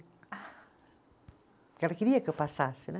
Porque ela queria que eu passasse, né?